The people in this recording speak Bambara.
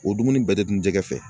O dumuni bɛɛ tɛ dun jɛgɛ fɛ